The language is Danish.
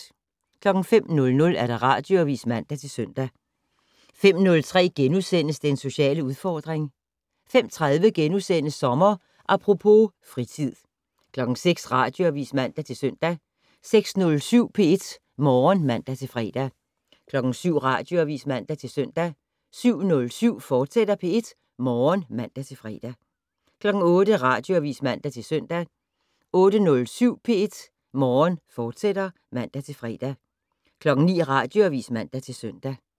05:00: Radioavis (man-søn) 05:03: Den sociale udfordring * 05:30: Sommer Apropos - fritid * 06:00: Radioavis (man-søn) 06:07: P1 Morgen (man-fre) 07:00: Radioavis (man-søn) 07:07: P1 Morgen, fortsat (man-fre) 08:00: Radioavis (man-søn) 08:07: P1 Morgen, fortsat (man-fre) 09:00: Radioavis (man-søn)